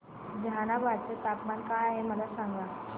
जहानाबाद चे तापमान काय आहे मला सांगा